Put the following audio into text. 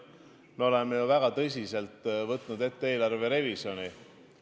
Me oleme ju väga tõsiselt võtnud ette eelarverevisjoni.